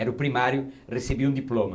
Era o primário, recebia um diploma.